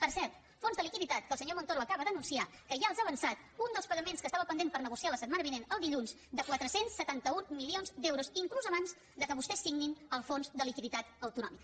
per cert fons de liquiditat que el senyor montoro acaba d’anunciar que ja els ha avançat un dels pagaments que estava pendent per negociar la setmana vinent el dilluns de quatre cents i setanta un milions d’euros inclús abans que vostès signin el fons de liquiditat autonòmic